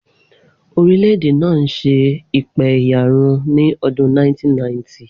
Orílẹ̀-èdè náà ń ṣe ìpẹ̀yàrun ní ọdún 1990.